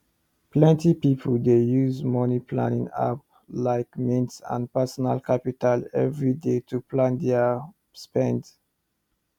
plenty people dey use moneyplanning apps like mint and personal capital every day to plan their spend